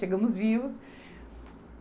Chegamos vivos.